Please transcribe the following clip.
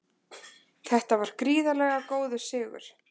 Þetta var gríðarlega góður sigur